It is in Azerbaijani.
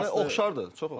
Yəni oxşardır, çox oxşardır.